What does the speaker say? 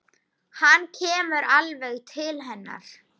Hann kemur alveg til hennar.